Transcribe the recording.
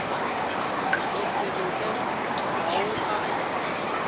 go se loke ao a